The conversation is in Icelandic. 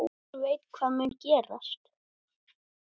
Hver veit hvað mun gerast?